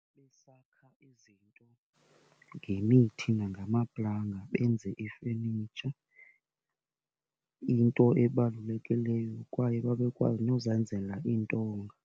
Besakha izinto ngemithi ngamaplanga benze ifenitsha, into ebalulekileyo kwaye babekwazi nozenzela iintonga.